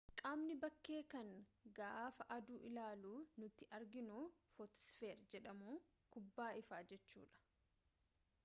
qaamni bakkee kan gaafa aduu ilaalu nuti arginu footosfeer jedhamu kubbaa ifaa jechuu dha